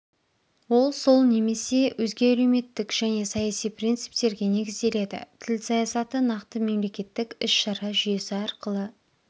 ол сол немесе өзге әлеуметтік және саяси принциптерге негізделеді тіл саясаты нақты мемлекеттік іс-шара жүйесі арқылы